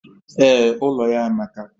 Ee, ụlọ ya amaka